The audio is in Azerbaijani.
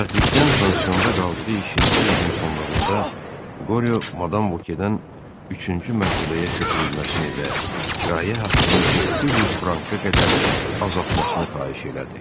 Bədbəxtlikdən pansionda qaldığı ikinci ilin sonlarında Qoryo madam Vokedən üçüncü mərtəbəyə köçürülməsini və kirayə haqqını 900 franka qədər azaltmasını xahiş elədi.